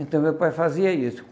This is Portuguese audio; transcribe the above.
Então, meu pai fazia isso.